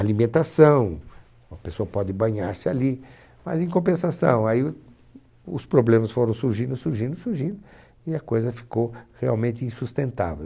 Alimentação, a pessoa pode banhar-se ali, mas em compensação, aí os problemas foram surgindo, surgindo, surgindo, e a coisa ficou realmente insustentável.